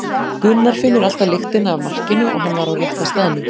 Gunnar finnur alltaf lyktina af markinu og hann var á rétta staðnum.